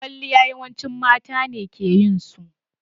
Kwaliya yawanci mata ne ke yin su.